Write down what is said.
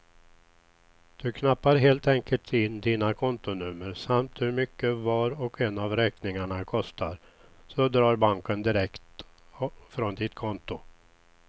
Du knappar helt enkelt in dina kontonummer samt hur mycket var och en av räkningarna kostar, så drar banken direkt från ditt konto.